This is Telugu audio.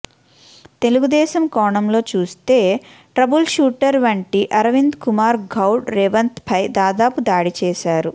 తెలుగుదేశం కోణంలో చూస్తే ట్రబుల్ షూటర్ వంటి అరవిందకుమార్ గౌడ్ రేవంత్పై దాదాపు దాడి చేశారు